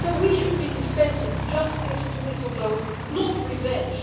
So we should be dispensing justice to whistleblowers, not revenge.